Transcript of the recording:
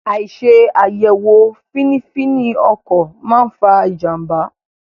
Àìṣe àyẹ̀wò fínífíní ọkọ̀ máa fa ìjànbá.